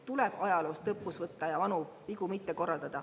Tuleb ajaloost õppust võtta ja vanu vigu mitte korrata.